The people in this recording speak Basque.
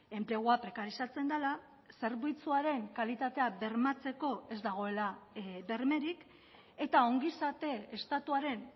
enplegua prekarizatzen dela zerbitzuaren kalitatea bermatzeko ez dagoela bermerik eta ongizate estatuaren